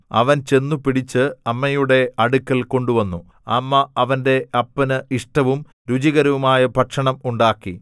അവൻ ചെന്നു പിടിച്ച് അമ്മയുടെ അടുക്കൽ കൊണ്ടുവന്നു അമ്മ അവന്റെ അപ്പന് ഇഷ്ടവും രുചികരവുമായ ഭക്ഷണം ഉണ്ടാക്കി